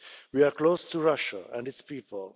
We are close to Russia and its people.